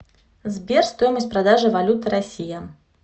сбер стоимость продажи валюты россия